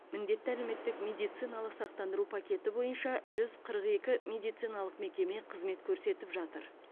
міндетті әлеуметтік медициналық сақтандыру пакеті бойынша жүз қырық екі медициналық мекеме қызмет көрсетіп жатыр